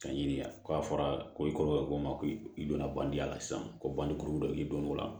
Ka ɲini k'a fɔra ko i kɔrɔkɛ ko n ma ko i donna bandi la sisan ko banni kuru dɔ i don o la